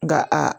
Nka a